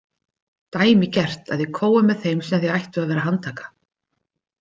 Dæmigert að þið kóið með þeim sem þið ættuð að vera að handtaka.